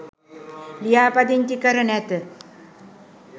ලියාපදිංචි කර නැත.